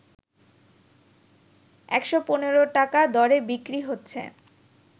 ১১৫ টাকা দরে বিক্রি হচ্ছে